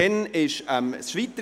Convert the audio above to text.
Dann ging es weiter: